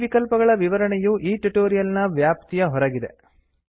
ಈ ವಿಕಲ್ಪಗಳ ವಿವರಣೆಯು ಈ ಟ್ಯುಟೋರಿಯಲ್ ನ ವ್ಯಾಪ್ತಿಯ ಹೊರಗಿದೆ